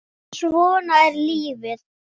En svona er lífið.